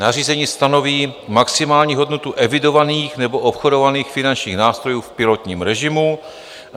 Nařízení stanoví maximální hodnotu evidovaných nebo obchodovaných finančních nástrojů v pilotním režimu.